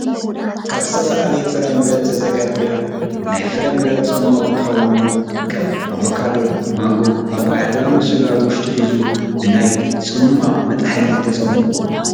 ካብ ዝተፈላለየ ፍራምረ ዝተዘጋጀወ ናይ ፍራምረ ፅሟቅ እንትኸውን ከም ኣቮካዶ፣ ማንጎ፣ ፖፖያ ዝኣመሰሉ ኣብ ውሽጡ ሒዙ ብናይ ፅማቅ መጥሓኒ ተፀሚቁ ይቀርብ፡፡